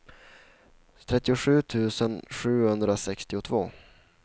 trettiosju tusen sjuhundrasextiotvå